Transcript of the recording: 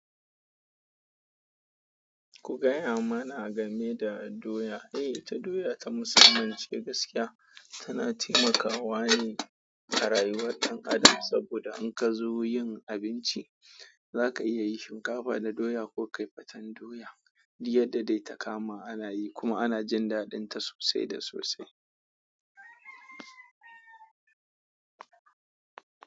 Ku gaya mana game da doya. Eh, ita doya ta mussamman ce gaskiya tana taimaka wa ne a rayuwar dan'adam saboda in kazo yin abinci za ka iya yin shinkafa da doya ko ka yi faten doya, duk yadda da dai ta kama ana yi kuma ana jin daɗinta sosai da sosai.